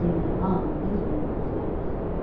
Yenə hamı bir-birinin üzünə baxdı.